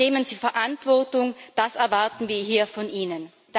Übernehmen Sie Verantwortung, das erwarten wir hier von Ihnen.